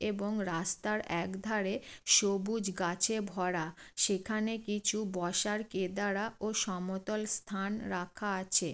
এবং রাস্তার একধারে সবুজ গাছে ভরা । সেখানে কিছু বসার কেদারা ও সমতল স্থান রাখা আছে।